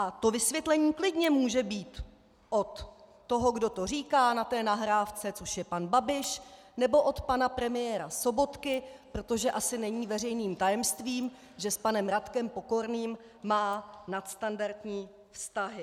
A to vysvětlení klidně může být od toho, kdo to říká na té nahrávce, což je pan Babiš, nebo od pana premiéra Sobotky, protože asi není veřejným tajemstvím, že s panem Radkem Pokorným má nadstandardní vztahy.